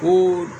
Ko